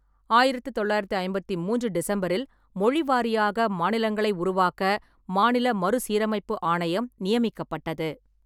ஆயிரத்து தொள்ளாயிரத்து ஐம்பத்தி மூன்று டிசம்பரில், மொழிவாரியாக மாநிலங்களை உருவாக்க மாநில மறுசீரமைப்பு ஆணையம் நியமிக்கப்பட்டது.